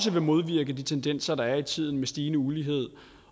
vil modvirke de tendenser der er i tiden med stigende ulighed